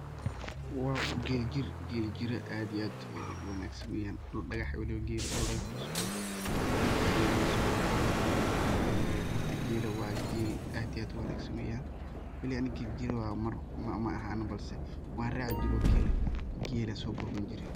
W Geel jeer, Geel jeeri aad iyo aad oo Wangsan dul dagax Geel kusocdoh, markaso eyada so warabay ee horta geelka wa Geel aad iyo aad u wangsan wayeen gulay Anika Geel jeer maaheen balse wa raci jeeray feel aso jeeri.